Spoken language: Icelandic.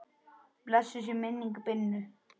Blessuð sé minning Binnu.